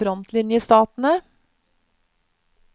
frontlinjestatene